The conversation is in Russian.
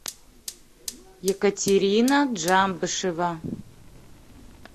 екатерина джамбышева